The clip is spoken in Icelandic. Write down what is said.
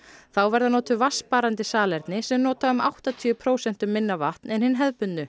þá verða notuð vatnssparandi salerni sem nota um áttatíu prósentum minna vatn en hin hefðbundnu